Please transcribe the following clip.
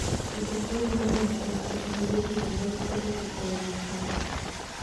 Pidho gwen dwaro ni ng'ato oti gi gige pidho lee koda pi e yo makende.